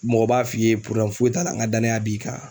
Mɔgɔ b'a f'i ye foyi t'a la n ka danaya b'i kan.